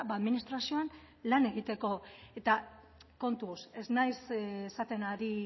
administrazioan lan egiteko eta kontuz ez naiz esaten ari